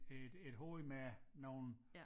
Øh et hoved med nogle